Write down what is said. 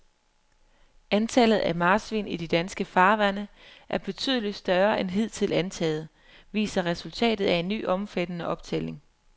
Antallet af marsvin i de danske farvande er betydeligt større end hidtil antaget, viser resultatet af en ny omfattende optælling.